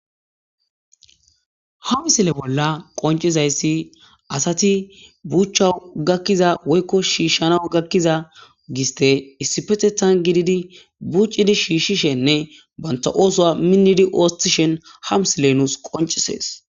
Ha misile bolla qoncizayssi asati buucha gakkiza woykko shiishshana gakkiza giste issipetethan gididi buuccidi shiishshishenne banta oosoa minnidi oostishen ha msile nuus qoncisees.